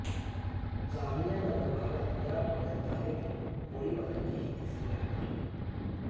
जामिया नगर भागात या आठवड्यात झालेली गोळीबाराची ही तिसरी घटना आहे